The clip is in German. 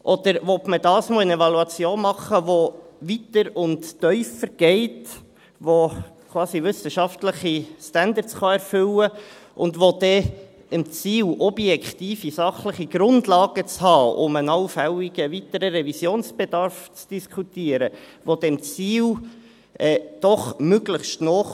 Oder will man dieses Mal eine Evaluation machen, die weiter und tiefer geht, die quasi wissenschaftliche Standards erfüllen kann, und die dann dem Ziel, objektive sachliche Grundlagen zu haben, um einen allfälligen weiteren Revisionsbedarf zu diskutieren, doch möglichst nahekommt?